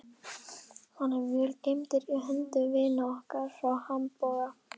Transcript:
Hann er vel geymdur í höndum vina okkar frá Hamborg.